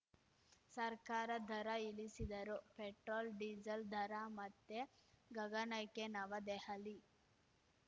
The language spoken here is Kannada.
ಸರ್ಕಾರ ದರ ಇಳಿಸಿದರೂ ಪೆಟ್ರೋಲ್‌ ಡೀಸೆಲ್‌ ದರ ಮತ್ತೆ ಗಗನಕ್ಕೆ ನವದೆಹಲಿ